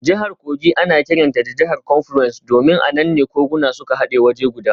Jihar Kogi ana kiranta jihar confluence domin a nan ne koguna suka hade waje guda.